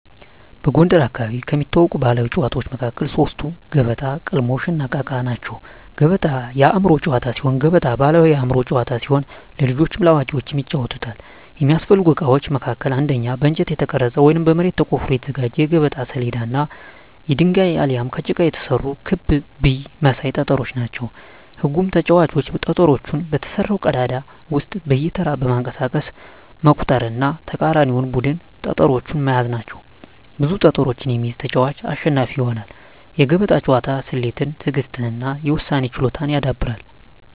በጎንደር አካባቢ ከሚታወቁ ባሕላዊ ጨዋታዎች መካከል ሶስቱ ገበጣ፣ ቅልሞሽ፣ እና እቃ እቃ ናቸው። ገበጣ የአእምሮ ጨዋታ ሲሆን ገበጣ ባሕላዊ የአእምሮ ጨዋታ ሲሆን ለልጆችም ለአዋቂዎችም ይጫወታል። የሚያስፈልጉ እቃዎች መካከልም አንደኛ በእንጨት የተቀረጸ ወይም በመሬት ተቆፍሮ የተዘጋጀ የገበጣ ሰሌዳ እና የድንጋይ አሊያም ከጭቃ የተሰሩ ክብ ብይ መሳይ ጠጠሮች ናቸው። ህጉም ተጫዋቾች ጠጠሮቹን በተሰራው ቀዳዳ ውስጥ በየተራ በማንቀሳቀስ መቁጠር እና የተቃራኒን ቡድን ጠጠሮች መያዝ ናቸው። ብዙ ጠጠሮችን የሚይዝ ተጫዋች አሸናፊ ይሆናል። የገበጣ ጨዋታ ስሌትን፣ ትዕግሥትን እና የውሳኔ ችሎታን ያዳብራል።